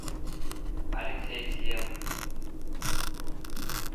алексей темов